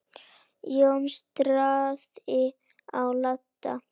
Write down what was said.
Jói starði á Lalla.